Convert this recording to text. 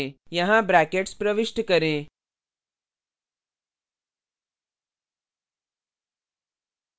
यहाँ brackets प्रविष्ट करें